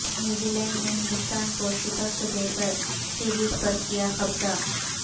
نیوزی Zealand Hindustan کو شکست دے کر سیریز پر کیا قبضہ